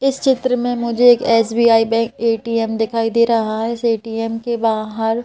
इस चित्र में मुझे एक एस_बी_आई बैंक ए_टी_एम दिखाई दे रहा है इस ए_टी_एम के बाहर--